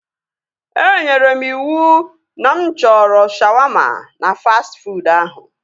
Enyere m iwu na mụ chọrọ shawaama na fastị fuud ahụ